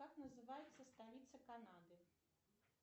как называется столица канады